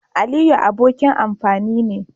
Aliyu abokin amfani ne.